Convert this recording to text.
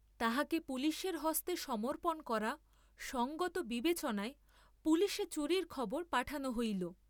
তাহাকে পুলিসের হস্তে সমর্পণ করা সঙ্গত বিবেচনায় পুলিসে চুরির খবর পাঠান হইল।